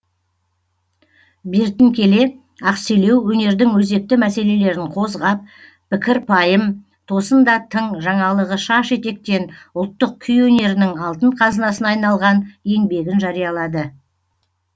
бертін келе ақселеу өнердің өзекті мәселелерін қозғап пікір пайым тосын да тың жаңалығы шаш етектен ұлттық күй өнерінің алтын қазынасына айналған еңбегін жариялады